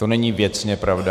To není věcně pravda.